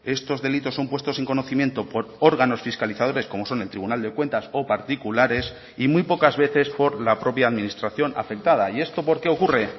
estos delitos son puestos en conocimiento por órganos fiscalizadores como son el tribunal de cuentas o particulares y muy pocas veces por la propia administración afectada y esto por qué ocurre